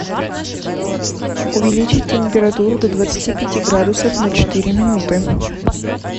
увеличить температуру до двадцати пяти градусов на четыре минуты